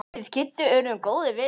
Við Kiddi urðum góðir vinir.